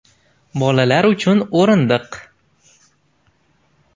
Bolalar uchun o‘rindiq.